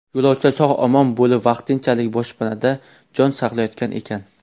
Yo‘lovchilar sog‘-omon bo‘lib, vaqtinchalik boshpanada jon saqlayotgan ekan.